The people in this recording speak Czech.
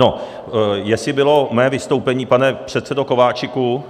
No, jestli bylo mé vystoupení, pane předsedo Kováčiku,